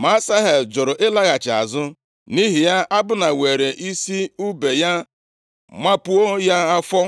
Ma Asahel jụrụ ịlaghachi azụ. Nʼihi ya, Abna weere isi ùbe ya mapuo ya afọ.